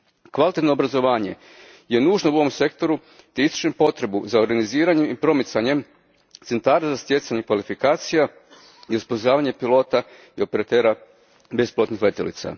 Kvalitetno obrazovanje je nužno u ovom sektoru te ističem potrebu za organiziranjem i promicanjem centara za stjecanje kvalifikacija i osposobljavanje pilota i operatera bespilotnih letjelica.